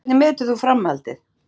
Hvernig metur þú framhaldið?